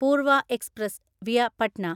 Purwa Express (via Patna)